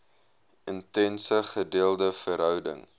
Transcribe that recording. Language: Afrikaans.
intense gedeelde verhouding